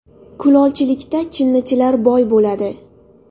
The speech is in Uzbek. Kulolchilikda chinnichilar boy bo‘ladi.